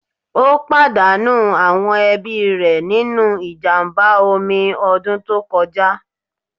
Ó pàdánù àwọn ẹbí rẹ̀ nínú ìjàmbá omi ọdún tó kọjá.